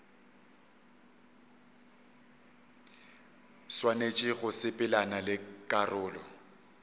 swanetše go sepelelana le karolo